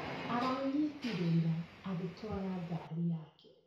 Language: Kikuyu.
Aranyitirwo ira agĩtwara ngari yake